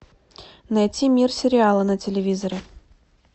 найти мир сериала на телевизоре